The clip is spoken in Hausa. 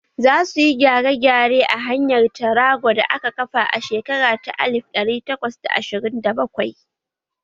Za su yi gyare-gyare a hanyar tarago da aka kafa a shekara ta alif ɗari takwas da ashirin da bakwai